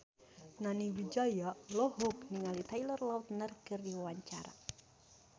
Nani Wijaya olohok ningali Taylor Lautner keur diwawancara